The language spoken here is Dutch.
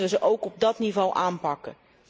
Dan moeten wij hen ook op dat niveau aanpakken.